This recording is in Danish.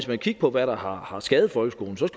vil kigge på hvad der har har skadet folkeskolen så